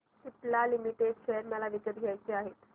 Cipla limited share मला विकत घ्यायचे आहेत